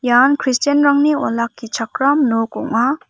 ian christian-rangni olakkichakram nok ong·a.